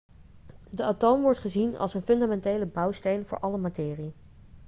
de atoom wordt gezien als een fundamentele bouwsteen voor alle materie